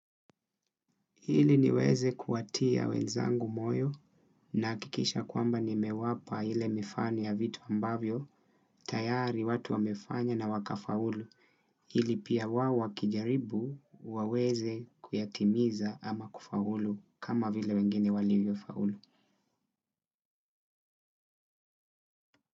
Ili niweze kuwatia wenzangu moyo, nakikisha kwamba nimewapa ile mifano ya vitu ambavyo, tayari watu wamefanya na waka faulu. Ili pia wao wakijaribu waweze kuyatimiza ama kufaulu kama vile wengine walivyo faulu.